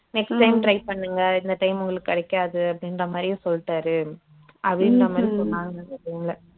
next time try பண்ணுங்க இந்த time உங்களுக்கு கிடைக்காது அப்படின்ற மாதிரியும் சொல்லிட்டாரு அப்படின்ற மாதிரி சொன்னாலுங்க இவளுங்க